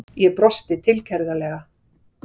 Ég brosi tilgerðarlega.